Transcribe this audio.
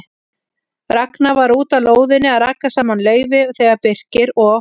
Ragnar var úti á lóðinni að raka saman laufi þegar Birkir og